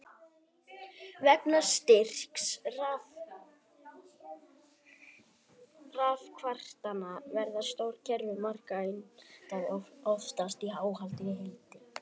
Vegna styrks rafkraftanna verða stór kerfi margra einda oftast óhlaðin í heild.